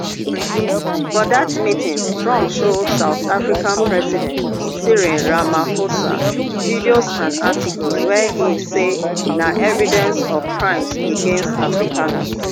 for dat meeting trump show south african president cyril ramaphosa videos and articles wey e say na evidence of crimes against afrikaners